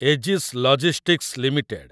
Ageas logistics limited